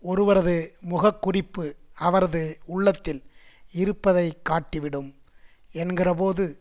ஒருவரது முகக்குறிப்பு அவரது உள்ளத்தில் இருப்பதை காட்டி விடும் என்கிறபோது